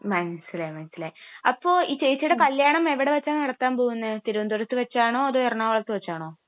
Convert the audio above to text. മനസിലായി, മനസിലായി. അപ്പൊ ഈ ചേച്ചിയുടെ കല്യാണം എവിടെ വച്ചാ നടത്താൻ പോകുന്നെ? തിരുവനന്തപുരത്ത് വച്ചാണോ അതോ എറണാകുളത്ത് വച്ചാണോ?